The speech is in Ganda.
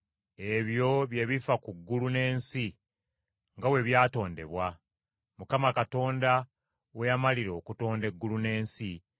Ebyo bye bifa ku ggulu n’ensi nga bwe byatondebwa, Mukama Katonda we yamalira okutonda eggulu n’ensi.